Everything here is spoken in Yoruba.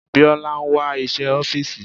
Biola ń wá iṣẹ́ ọ́fìsì.